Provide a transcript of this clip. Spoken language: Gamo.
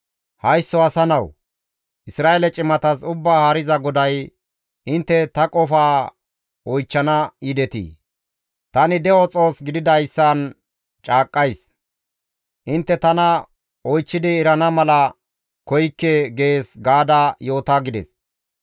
«Haysso asa nawu! Isra7eele cimatas Ubbaa Haariza GODAY, ‹Intte ta qofaa oychchana yidetii? Tani de7o Xoos gididayssan caaqqays; intte tana oychchidi erana mala koykke› gees gaada yoota» gides.